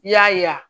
I y'a ye